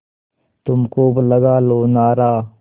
तुम खूब लगा लो नारा